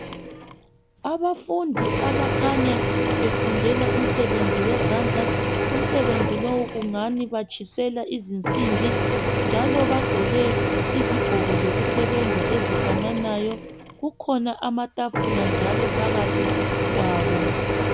Abafundi abakhanya befundela umsebenzi wezandla umsebenzi lowu kungani batshisela izinsimbi njalo bagqoke izigqoko zokusebenza ezifananayo kukhona amatafula njalo phakathi kwabo